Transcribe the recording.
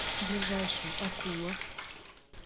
ближайший акула